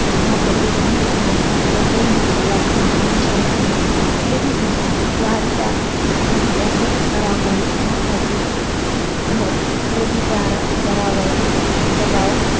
भारतातील घर घेण्यास मुबंई हे सर्वात महागडे शहर आहे. नवी दिल्ली वाढत्या गृहकर्जामुळे दरामुळे भारतातील घर खरेदीदारावर दबाव,